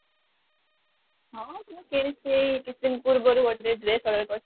ହଁ ମୁଁ କିଣିଛି ସେଇ କିଛିଦିନ ପୂର୍ବରୁ ଗୋଟେ dress order କରିଥିଲି